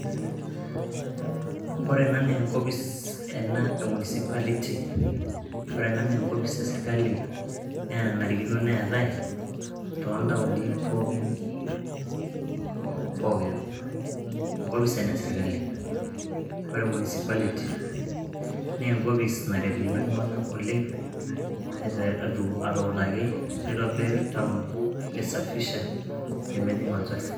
Ore ena naa enkopis e municipality . Ore ena naa enkopis e sirkali naa enanarikino neetae toontaoni pookin . Enkopis ena e sirkali. Ore municipality naa enkopis naret iltunganak oleng atuutaki , nitobir, town ,nisafisha , pemejing olchafu.